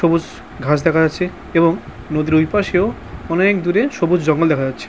সবুজ ঘাস দেখা যাচ্ছে এবং নদীর ঐ পাশেও অনেক দূরে সবুজ জঙ্গল দেখা যাচ্ছে ।